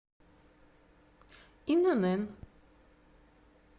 инн